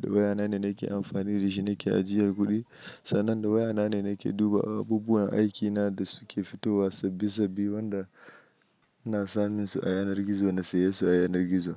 Da waya na ne nake amfani da shi nake ajiyar kuɗi. Sannan da waya na ne nake duba abubuwan aikina da suke fitowa sabbi sabbi wanda na samun su a yanar gizo na saye su a yanar gizo.